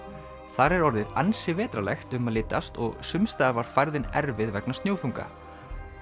þar er orðið ansi vetrarlegt um að litast og sums staðar var færðin erfið vegna snjóþunga